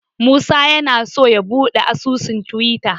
Musa yana so ya buɗe asusun Tiwita.